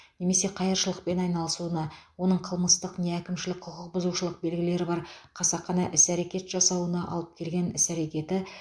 немесе қайыршылықпен айналысуына оның қылмыстық не әкімшілік құқық бұзушылық белгілері бар қасақана іс әрекет жасауына алып келген іс әрекеті